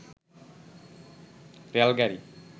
rail গাড়ি